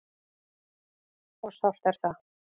Og sárt er það.